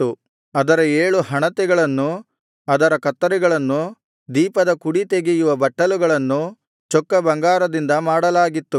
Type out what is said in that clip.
ಅದರ ಏಳು ಹಣತೆಗಳನ್ನೂ ಅದರ ಕತ್ತರಿಗಳನ್ನೂ ದೀಪದ ಕುಡಿತೆಗೆಯುವ ಬಟ್ಟಲುಗಳನ್ನೂ ಚೊಕ್ಕ ಬಂಗಾರದಿಂದ ಮಾಡಲಾಗಿತ್ತು